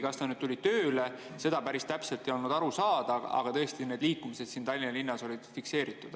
Kas ta tuli tööle, seda päris täpselt ei olnud aru saada, aga tõesti need liikumised siin Tallinna linnas olid fikseeritud.